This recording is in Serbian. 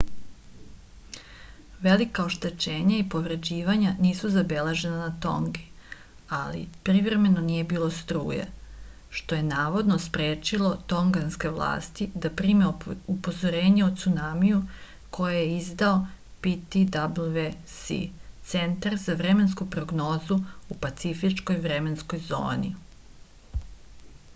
велика оштећења и повређивања нису забележена на тонги али привремено није било струје што је наводно спречило тонганске власти да приме упозорење о цунамију које је издао ptwc центар за временску прогнозу у пацифичкој временској зони